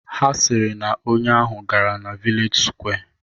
Ha sịrị na onye ahụ gara na vilej sụkwé